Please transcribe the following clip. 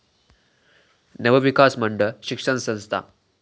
नवविकास मंडळ शिक्षण संस्था